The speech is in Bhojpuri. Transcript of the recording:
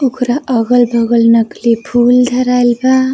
ओकरा अगल बगल नकली फूल धराइल बा।